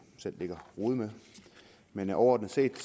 selv ligge og rode med men overordnet set